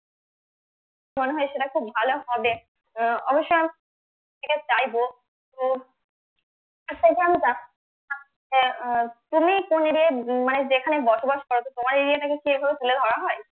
মনে হয় সেটা খুব ভালো হবে আহ অবশ্য সেটা চাইবো তো আহ তুমি কোন area ই মানে যেখানে বসবাস করো তো তোমার area টাকে কি এভাবে তুলে ধরা হয়?